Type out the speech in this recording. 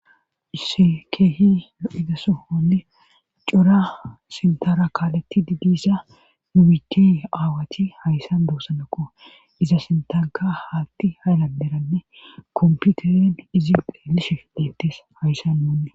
Skeehi idasohonne cora sintara kaaletti didisa nubici aawati hayssan doossanakqo iza sintaka haatti hayladeranne komputeren izi dheelishi deettes hayssan muunne